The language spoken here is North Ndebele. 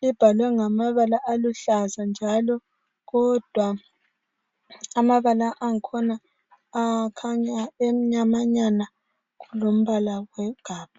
libhalwe ngamabala aluhlaza njalo kodwa amabala angkhona akhanya emnyama nyana kulombala wegabha.